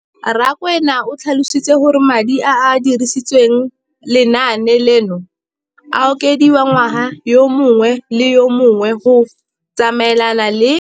Rakwena o tlhalositse gore madi a a dirisediwang lenaane leno a okediwa ngwaga yo mongwe le yo mongwe go tsamaelana le.